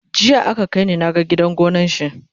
jiya aka kaini na gan gidan gonan shi